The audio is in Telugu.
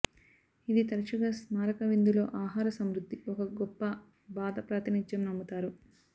ఇది తరచుగా స్మారక విందులో ఆహార సమృద్ధి ఒక గొప్ప బాధ ప్రాతినిధ్యం నమ్ముతారు